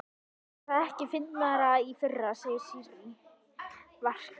Var það ekki fyndnara í fyrra, segir Sirrý, varkár.